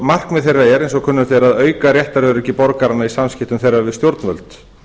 markmið þeirra er eins og kunnugt er að auka réttaröryggi borgaranna í samskiptum þeirra við stjórnvöld